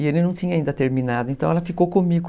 E ele não tinha ainda terminado, então ela ficou comigo.